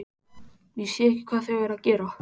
Ég sé ekki hvað þau eru að gera.